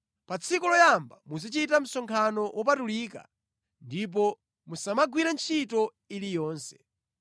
Pa tsiku loyamba muzichita msonkhano wopatulika ndipo musamagwire ntchito iliyonse.